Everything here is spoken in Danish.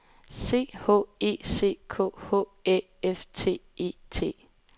C H E C K H Æ F T E T